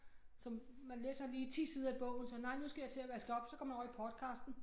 Som man læser lige 10 sider i bogen så nej nu skal jeg til at vaske op så går man over i podcasten